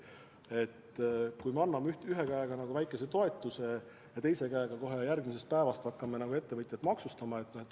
Pole hea, kui me anname ühe käega väikese toetuse ja teise käega kohe järgmisest päevast hakkame ettevõtjaid maksustama.